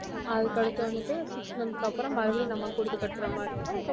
அதுக்கடுத்து வந்துட்டு six month க்கு அப்புறம் மறுபடியும் நம்ம குடுத்து கட்ர மாதிரி இருக்கும்